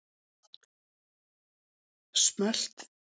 Hálka á höfuðborgarsvæðinu